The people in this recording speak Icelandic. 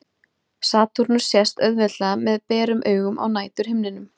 Satúrnus sést auðveldlega með berum augum á næturhimninum.